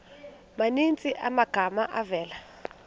maninzi amagama avela